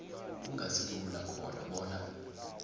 kungasilula khona bona